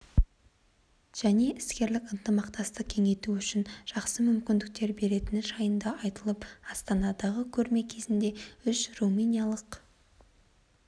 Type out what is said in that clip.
және іскерлік ынтымақтастықты кеңейту үшін жақсы мүмкіндіктер беретіні жайында айтылып астанадағы көрме кезінде үш румыниялық